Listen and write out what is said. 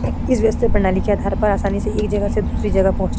इस परनाली के आधार पर आसानी एक जगह से दूसरी जगह पहुँच --